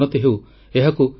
ସେ ଜଣେ ସମାଜ ସଂସ୍କାରକ ଥିଲେ